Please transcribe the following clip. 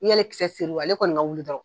N'i y'ale kisɛ seri ale kɔni ka wuli dɔrɔn